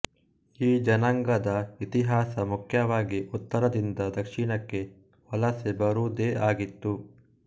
ಈ ಜನಾಂಗದ ಇತಿಹಾಸ ಮುಖ್ಯವಾಗಿ ಉತ್ತರದಿಂದ ದಕ್ಷಿಣಕ್ಕೆ ವಲಸೆ ಬರುವುದೇ ಆಗಿತ್ತು